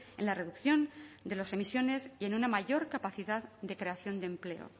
en la reducción de las emisiones y en una mayor capacidad de creación de empleo